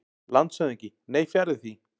LANDSHÖFÐINGI: Nei, fjarri því.